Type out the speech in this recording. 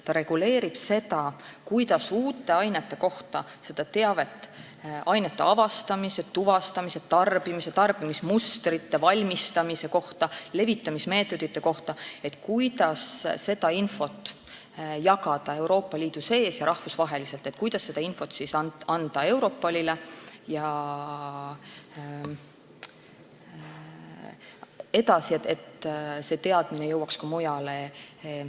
Ta reguleerib seda, kuidas saada teavet uute ainete kohta, samuti ainete avastamise, tuvastamise, tarbimise, tarbimismustrite, valmistamise ja levitamismeetodite kohta, kuidas jagada seda infot Euroopa Liidu sees ja rahvusvaheliselt ning kuidas anda seda infot edasi Europolile, et see teadmine jõuaks ka mujale.